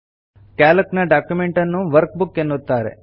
Calc ನ document ಅನ್ನು workbook ಎನ್ನುತ್ತಾರೆ